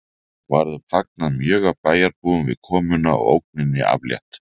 Var þeim fagnað mjög af bæjarbúum við komuna og ógninni aflétt